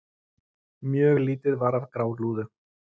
Mjög lítið var af grálúðu.